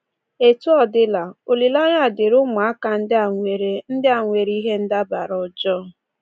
Etu ọ dịla, olileanya dịịrị ụmụaka ndị a nwere ndị a nwere ihe ndabara ọjọọ.